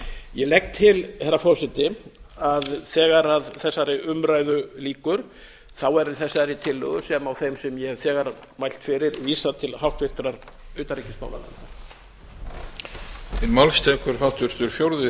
ég legg til herra forseti að þegar þessari umræðu lýkur verði þessari tillögu sem og þeim sem ég hef þegar mælt fyrir vísað til háttvirtrar utanríkismálanefndar